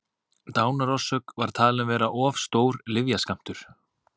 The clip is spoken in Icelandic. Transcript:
dánarorsök var því talin vera of stór lyfjaskammtur